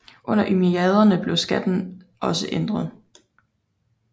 Under umayyaderne blev skatten også ændret